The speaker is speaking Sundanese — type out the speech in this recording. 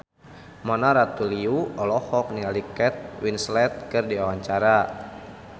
Mona Ratuliu olohok ningali Kate Winslet keur diwawancara